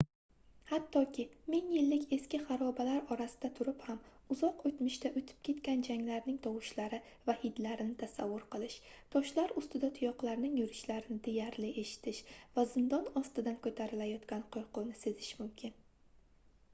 hattoki ming yillik eski harobalar orasida turib ham uzoq oʻtmishda oʻʼtib ketgan janglarning tovushlari va hidlarini tasavvur qilish toshlar ustida tuyoqlarning yurishlarini deyarli eshitish va zindon ostidan koʻtarilayotgan qoʻrquvni sezish mumkin